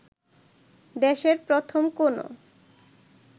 দেশের প্রথম কোনো